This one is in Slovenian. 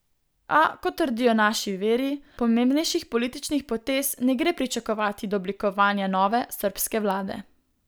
A, kot trdijo naši viri, pomembnejših političnih potez ne gre pričakovati do oblikovanja nove srbske vlade.